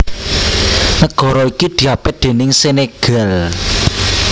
Nagara iki diapit déning Senegal